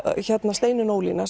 Steinunn Ólína